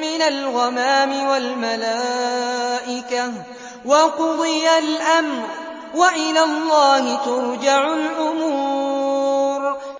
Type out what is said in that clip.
مِّنَ الْغَمَامِ وَالْمَلَائِكَةُ وَقُضِيَ الْأَمْرُ ۚ وَإِلَى اللَّهِ تُرْجَعُ الْأُمُورُ